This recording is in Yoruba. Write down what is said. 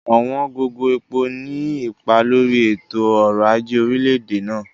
Ọ̀wọ̀n gógó epo ní ipa lórí i ètò orò aje orílẹ̀-èdè náà.